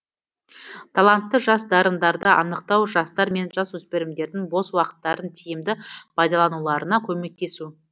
талантты жас дарындарды анықтау жастар мен жасөспірімдердің бос уақыттарын тиімді пайдалануларына көмектесу